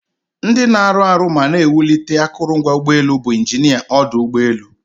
Ndị na-arụ arụ ma na-ewulite akụrụngwa ụgbọelu bụ injinia ọdụ ụgbọelu.